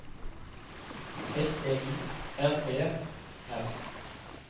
S E I R E R